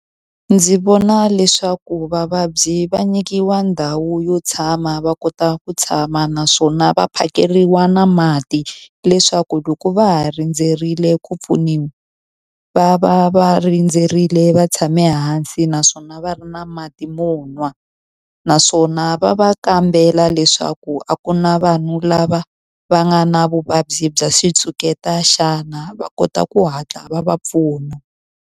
Ndzi vona leswaku vavabyi va nyikiwa ndhawu yo tshama va kota ku tshama naswona va phakeriwa na mati, leswaku loko va ha rindzerile ku pfuniwa va va va rindzerile va tshame hansi naswona va ri na mati mo nwa. Naswona va va kambela leswaku a ku na vanhu lava va nga na vuvabyi bya xitshuketa xana, va kota ku hatla va va pfuna.